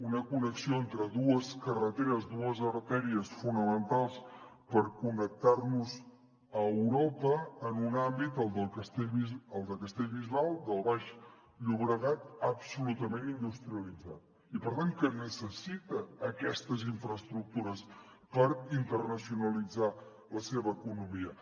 una connexió entre dues carreteres dues artèries fonamentals per connectar nos a europa en un àmbit el de castellbisbal del baix llobregat absolutament industrialitzat i per tant que necessita aquestes infraestructures per internacionalitzar la seva economia